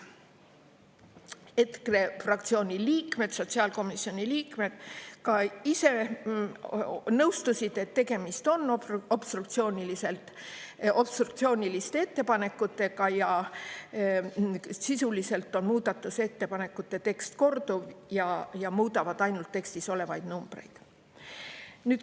EKRE fraktsiooni liikmed, sotsiaalkomisjoni liikmed ka ise nõustusid, et tegemist on obstruktsiooniliste ettepanekutega ja sisuliselt on muudatusettepanekute tekst korduv ning nad muudavad ainult tekstis olevaid numbreid.